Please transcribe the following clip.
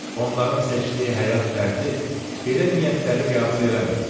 Onların seçdiyi həyat tərzi belə niyyətləri qəbul eləmir.